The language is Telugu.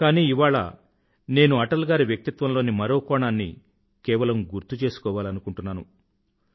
కానీ ఇవాళ నేను అటల్ గారి వ్యక్తిత్వంలోని మరో కోణాన్ని కేవలం గుర్తుచేసుకోవాలని అనుకుంటున్నాను